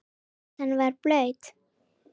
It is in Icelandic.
Gatan var blaut.